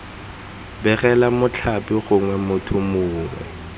begela mothapi gongwe motho mongwe